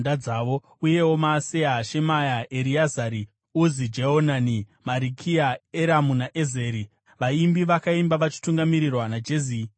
uyewo Maaseya, Shemaya, Ereazari, Uzi Jehonani, Marikiya, Eramu naEzeri. Vaimbi vakaimba vachitungamirirwa naJezirahia.